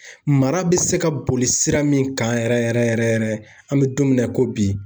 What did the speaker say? Mara bɛ se ka boli sira min kan yɛrɛ yɛrɛ yɛrɛ yɛrɛ an bɛ don min na i ko bi